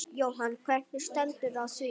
Jóhann: Hvernig stendur á því?